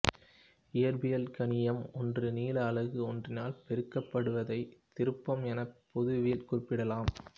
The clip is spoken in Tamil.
இயற்பியல் கணியம் ஒன்று நீள அலகு ஒன்றினால் பெருக்கப்படுவதைத் திருப்பம் என பொதுவில் குறிப்பிடலாம்